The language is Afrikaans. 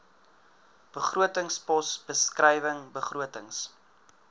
begrotingspos beskrywing begrotings